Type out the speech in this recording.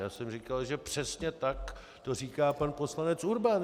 Já jsem říkal, že přesně tak to říká pan poslanec Urban.